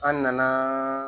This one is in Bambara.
An nana